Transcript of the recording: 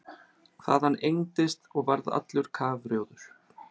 Hvað hann engdist og varð allur kafrjóður!